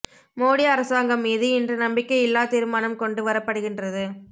மோடி அரசாங்கம் மீது இன்று நம்பிக்கை இல்லா தீர்மானம் கொண்டு வரப்படுகின்றது